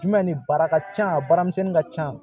Jumɛn ni baara ka ca a baaramisɛnnin ka ca